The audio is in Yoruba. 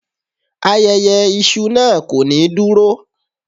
Ayẹyẹ iṣu naa ko ni duro